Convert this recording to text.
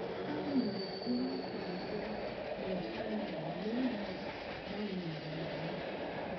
Bamĩrĩ ĩracangĩra meciria megiĩ mawĩra ma mũciĩ.